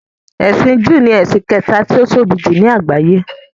“Ẹ̀sìn júù” ni ẹ̀sìn kẹta tí ó tóbi jùlọ ní àgbáyé.